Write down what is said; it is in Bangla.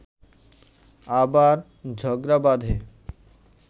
আবার ঝগড়া বাঁধে